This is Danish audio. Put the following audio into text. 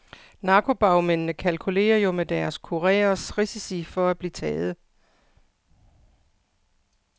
Narkobagmændene kalkulerer jo med deres kurereres risici for at blive taget.